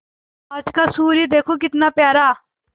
आज का सूर्य देखो कितना प्यारा